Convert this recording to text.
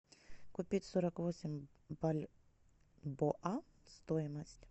купить сорок восемь бальбоа стоимость